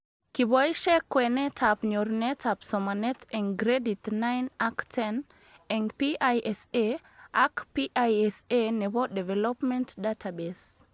Kiboishek kwenetab nyorunetab somanet eng gradit 9 ak 10 eng PISA ak PISA nebo Development Database